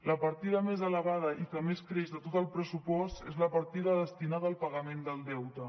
la partida més elevada i que més creix de tot el pressupost és la partida destinada al pagament del deute